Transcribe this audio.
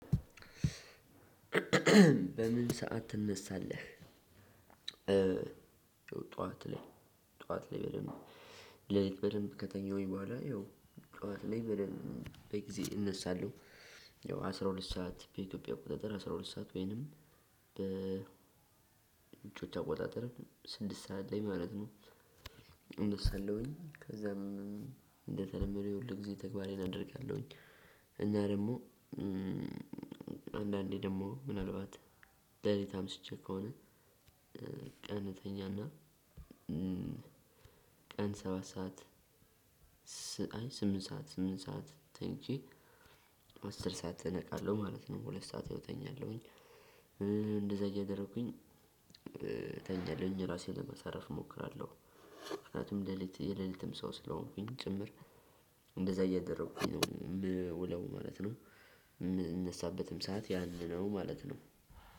በምን ሰዓት ትነሳለህ? ጠዋት ላይ በደንብ ሌሊት በደንብ ከተኛሁኝ በኋላ ያው ጠዋት ላይ በደንብ በጊዜ እነሳለሁ። ያው አስራ ሁለት ሰዓት በኢትዮጵያ አቆጣጠር አስራ ሁለት ሰዓት ወይንም በ አቆጣጠር ስድስት ሰዓት ላይ ማለት ነው። እነሳለሁኝ ከዛም እንደተለመደው የሁል ጊዜ ተግባሬን አደርጋለሁኝ። እኛ ደግሞ አንዳንዴ ደግሞ ምናልባት ሌሊት አምሽቼ ከሆነ። ቀን እተኛና ቀን ሰባት ሰዓት ስምንት ሰዓት ስምንት ሰዓት ተኝቼ አስር ሰዓት እነቃለሁ ማለት ነው። ሁለት ሰዓት ያው ተኛለሁኝ። እንደዛ እያደረኩኝ ተኛለሁኝ እራሴን ለማሳረፍ እሞክራለሁ። ምክንያቱም የሌሊት የሌሊትም ሰው ስለሆንኩኝ ጭምር እንደዛ እያደረኩኝ ነው ምውለው ማለት ነው። የምነሳበትም ሰዓት ያኔ ነው ማለት ነው።